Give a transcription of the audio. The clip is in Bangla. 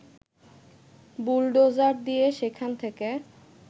বুলডোজার দিয়ে সেখান থেকে